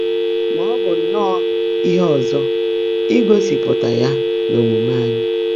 Mà ọ́ bụ́ nnọ́ọ́ íhe ọ́zọ́ ígósị́pụ́tá yá n’ómuumé ányị́.